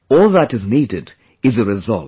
All that is needed is a resolve